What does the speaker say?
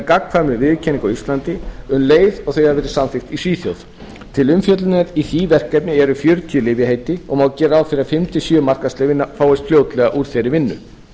gagnkvæmri viðurkenningu á íslandi um leið og þau hafa verið samþykkt í svíþjóð til umfjöllunar í því verkefni eru fjörutíu lyfjaheiti og má gera ráð fyrir að fimm til sjö markaðsleyfi fáist fljótlega úr þeirri vinnu